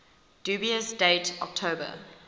dubious date october